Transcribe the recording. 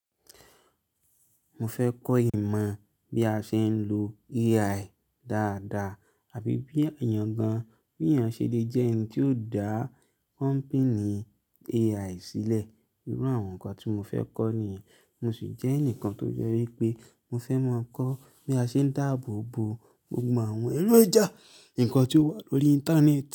Mo fẹ́ kọ́ ìmọ̀ bí a ṣe ń lo AI dáadáa àbí bí ènìyàn gan-an bí èyàn ṣe lè jẹ́ ẹni tí ó dá kọ́npìnì AI sílẹ̀. Irú àwọn nǹkan tí mo fẹ́ kọ́ nìyẹn. Mo sì jẹ́ ẹnìkan tó jẹ́ wípé mo fẹ́ ma kọ́ bí a ṣe ń dáàbò bo gbogbo àwọn èrò ìjà nǹkan tí ó wà lórí Íńtánẹ́ẹ̀tì.